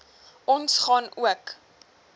ons gaan ook